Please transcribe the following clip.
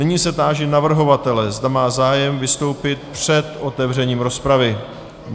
Nyní se táži navrhovatele, zda má zájem vystoupit před otevřením rozpravy.